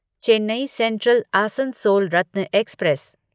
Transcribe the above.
Chennai central Asansol Ratna express